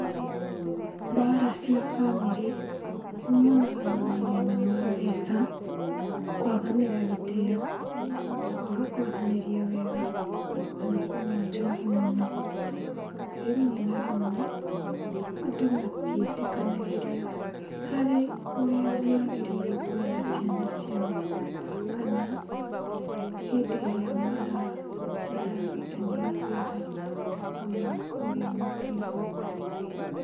Mbara cia bamĩrĩ ciumanaga na mathĩna ma mbeca, kwaganĩra gĩtĩyo, kwaga kwaranĩria wega kana kũnyua njohi mũno. Rĩmwe na rĩmwe andũ matiĩtĩkanagĩria harĩ ũrĩa magĩrĩirwo nĩ kũrera ciana ciao, kana hĩndĩ ĩrĩa mararũtithania wĩra hamwe kũrĩa mũciĩ.